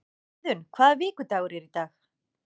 Iðunn, hvaða vikudagur er í dag?